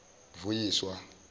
vuyiswa